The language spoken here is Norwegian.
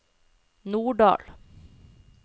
Norddal